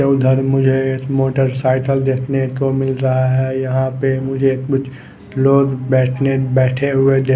ये उधर मुझे एक मोटरसायकल देखने को मिल रहा है यहाँ पर मुझे कुछ लोग बैठने बैठे हुए दे--